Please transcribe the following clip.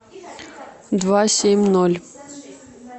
два семь ноль